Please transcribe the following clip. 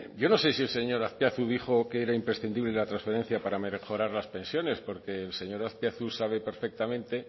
yo no sé si el señor azpiazu dijo que era imprescindible la transferencia para mejorar las pensiones porque el señor azpiazu sabe perfectamente